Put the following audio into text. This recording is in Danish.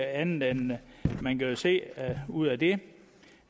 andet end at man jo kan se ud af det